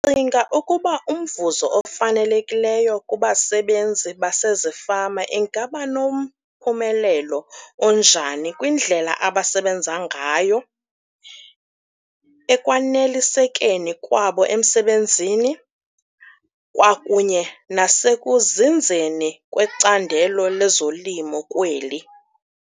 Ndicinga ukuba umvuzo ofanelekileyo kubasebenzi basezifama ingaba nomphumelo onjani kwindlela abasebenza ngayo, ekwanelisekeni kwabo emsebenzini kwakunye nasekusekuzinzeni kwecandelo lezolimo kweli.